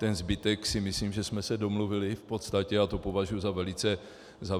Ten zbytek si myslím, že jsme se domluvili v podstatě, a to považuji za velice cenné.